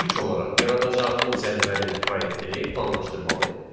İlk olaraq yaradacağımız cədvəlin proyektini planlaşdırmalıyıq.